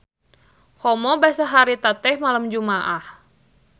Komo basa harita teh malem Jumaah.